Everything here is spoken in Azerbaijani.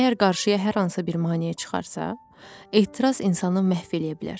Əgər qarşıya hər hansı bir maneə çıxarsa, ehtiras insanı məhv eləyə bilər.